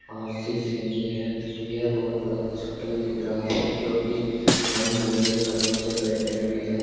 RC Saini है यह बहोत बड़ा हॉस्पिटल दिख रहा है जो की रंग बिरंगे कलरों से पेंटेड भी है।